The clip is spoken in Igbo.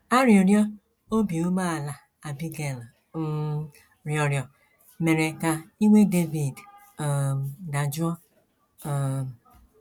Arịrịọ obi umeala Abigail um rịọrọ mere ka iwe Devid um dajụọ. um